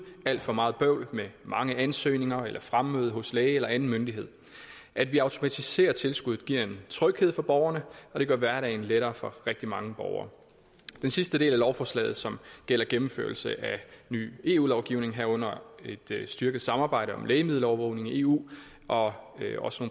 alt for meget bøvl med mange ansøgninger eller fremmøde hos læge eller anden myndighed at vi automatiserer tilskuddet giver en tryghed for borgerne og det gør hverdagen lettere for rigtig mange borgere den sidste del af lovforslaget som gælder gennemførelse af ny eu lovgivning herunder et styrket samarbejde om lægemiddelovervågning i eu og også